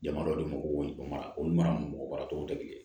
Jama dɔ de ma ko mara o mara mɔgɔ mara cogo tɛ kelen ye